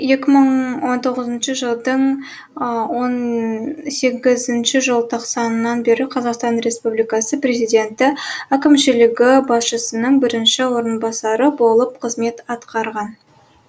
екі мың он тоғызыншы жылдың он сегізінші желтоқсаннан бері қазақстан республикасы президенті әкімшілігі басшысының бірінші орынбасары болып қызмет атқарған